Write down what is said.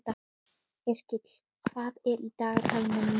Yrkill, hvað er í dagatalinu mínu í dag?